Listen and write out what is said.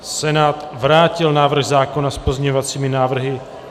Senát vrátil návrh zákona s pozměňovacími návrhy.